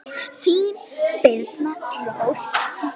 Þín Birna Rós.